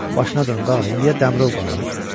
Başına dönüm qağa, indiyə Dəmirov qalar?